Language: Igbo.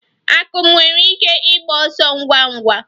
Akum nwere ike ịgba ọsọ ngwa ngwa?